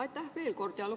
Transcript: Aitäh veel kord!